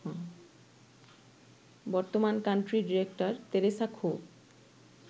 বর্তমান country director Teresa খো